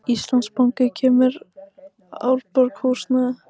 Íslandsbanki selur Árborg húsnæði